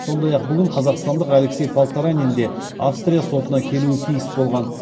сондай ақ бүгін қазақстандық алексей полторанинде австрия сотына келуі тиіс болған